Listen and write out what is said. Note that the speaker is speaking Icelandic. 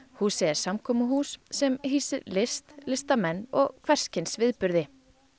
húsið er samkomuhús sem hýsir list listamenn og hvers kyns viðburði